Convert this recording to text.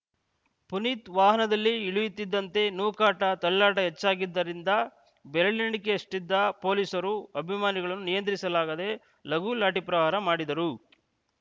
ಪುನೀತ್‌ ವಾಹನದಿಂದ ಇಳಿಯುತ್ತಿದ್ದಂತೆ ನೂಕಾಟ ತಳ್ಳಾಟ ಹೆಚ್ಚಾಗಿದ್ದರಿಂದ ಬೆರಳೆಣಿಕೆಯಷ್ಟಿದ್ದ ಪೊಲೀಸರು ಅಭಿಮಾನಿಗಳನ್ನು ನಿಯಂತ್ರಿಸಲಾಗದೇ ಲಘು ಲಾಠಿ ಪ್ರಹಾರ ಮಾಡಿದರು